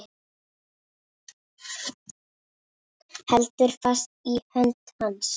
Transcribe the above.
Heldur fast í hönd hans.